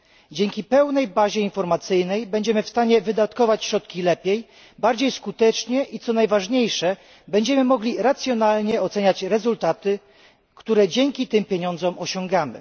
Dzięki pełnej bazie informacyjnej będziemy w stanie wydatkować środki lepiej, skuteczniej i, co najważniejsze, będziemy mogli racjonalnie oceniać rezultaty, które dzięki tym pieniądzom osiągamy.